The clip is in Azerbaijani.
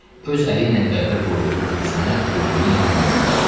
Öz əli ilə qəbrə qoyduğu Gülsümünü öldüyünə inanmırdı.